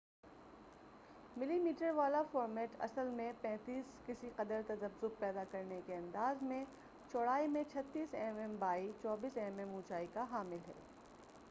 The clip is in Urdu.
35 ملی میٹر والا فورمیٹ اصل میں کسی قدر تذبذب پیدا کرنے کے انداز میں چوڑائی میں 36 M M by 24 M M اونچائی کا حامل ہے